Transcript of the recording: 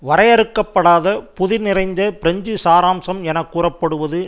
வரையறுக்கப்படாத புதிர் நிறைந்த பிரெஞ்சு சாராம்சம் என்று கூறப்படுவது